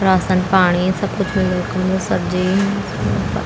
रासन पाणी सब कुछ मिलदु वखम सब्जी --